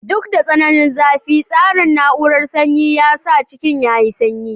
Duk da tsananin zafi, tsarin na'urar sanyi ya sa cikin yayi sanyi.